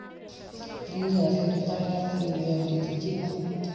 Þrír eða fjórir dagar því við höfum lítinn tíma.